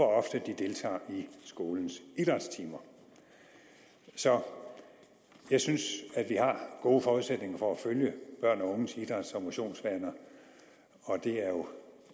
ofte de deltager i skolens idrætstimer så jeg synes vi har gode forudsætninger for at følge børn og unges idræts og motionsvaner og det er jo